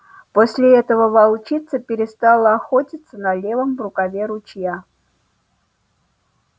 после этого волчица перестала охотиться на левом рукаве ручья